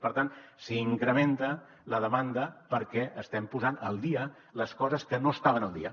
per tant s’incrementa la demanda perquè estem posant al dia les coses que no estaven al dia